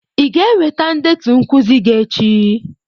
Ị ga-eweta ndetu nkuzi gi echi.